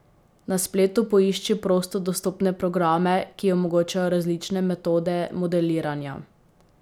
Na spletu poišči prosto dostopne programe, ki omogočajo različne metode modeliranja.